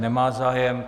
Nemá zájem.